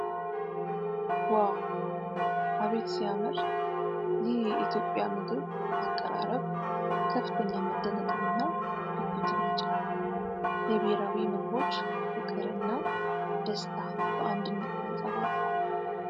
ዋው! አቤት ሲያምር! ይህ የኢትዮጵያ ምግብ አቀራረብ ከፍተኛ መደነቅንና ጉጉትን ያጭራል ። የብሔራዊ ምግቦች ፍቅር እና ደስታ በአንድነት ተንጸባርቋል ።